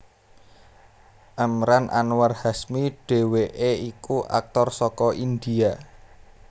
Emraan Anwar Hashmi dhèwèké iku aktor saka India